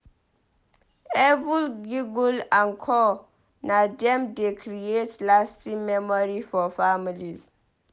Every giggle and coo na dem dey creat lasting memory for families.